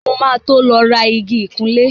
Mo ma tó lọ rà igi ìkunlẹ́